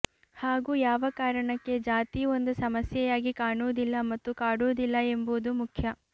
ಹಾಗೂ ಯಾವ ಕಾರಣಕ್ಕೆ ಜಾತಿಯು ಒಂದು ಸಮಸ್ಯೆಯಾಗಿ ಕಾಣುವುದಿಲ್ಲ ಮತ್ತು ಕಾಡುವುದಿಲ್ಲ ಎಂಬುದು ಮುಖ್ಯ